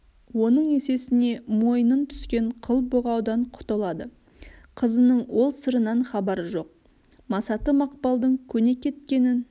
оның есесіне мойынын түскен қыл бұғаудан құтылады қызының ол сырынан хабары жоқ масаты мақпалдың көне кеткенін